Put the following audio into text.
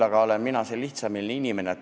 Ma olen lihtsameelne inimene.